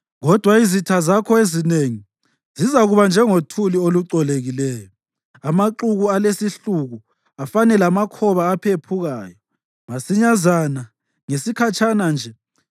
Kodwa izitha zakho ezinengi, zizakuba njengothuli olucolekileyo, amaxuku alesihluku afane lamakhoba aphephukayo. Masinyazana, ngesikhatshana nje,